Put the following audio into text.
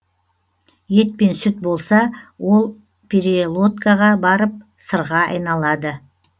ет пен сүт болса ол перелодкаға барып сырға айналады